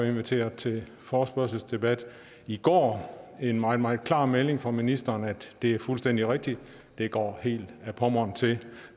inviteret til forespørgselsdebat i går en meget meget klar melding fra ministeren om at det er fuldstændig rigtigt det går helt ad pommern til